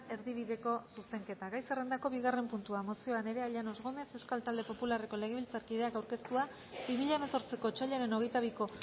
erdibideko zuzenketa gai zerrendako bigarren puntua mozioa nerea llanos gómez euskal talde popularreko legebiltzarkideak aurkeztua bi mila hemezortziko otsailaren hogeita biko